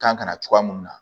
Kan ka na cogoya mun na